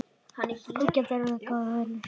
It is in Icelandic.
Hún gæti orðið góður vinur.